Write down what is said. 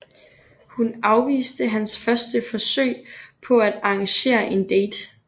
Hun afviste hans første forsøg på at arrangere en date